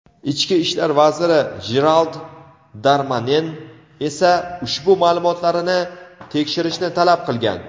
Ichki ishlar vaziri Jerald Darmanen esa ushbu ma’lumotlarini tekshirishni talab qilgan.